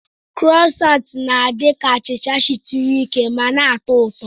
Krosanti na-adi ka achicha shituru ike ma na-atọ ụtọ.